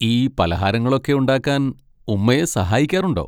ഈ പലഹാരങ്ങളൊക്കെ ഉണ്ടാക്കാൻ ഉമ്മയെ സഹായിക്കാറുണ്ടോ?